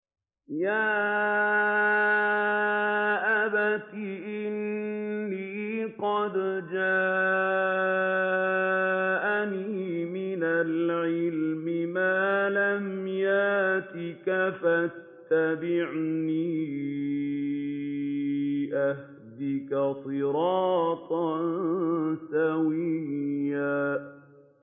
يَا أَبَتِ إِنِّي قَدْ جَاءَنِي مِنَ الْعِلْمِ مَا لَمْ يَأْتِكَ فَاتَّبِعْنِي أَهْدِكَ صِرَاطًا سَوِيًّا